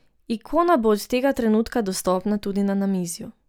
Ikona bo od tega trenutka dostopna tudi na namizju.